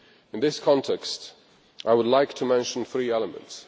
In this context, I would like to mention three elements.